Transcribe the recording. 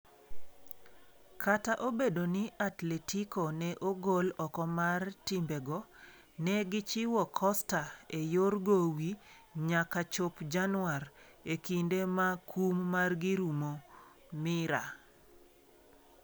Kata obedo ni Atletico ne ogol oko mar timbego, ne gichiwo Costa e yor gowi nyaka chop Januar, e kinde ma kum margi rumo (Mirror).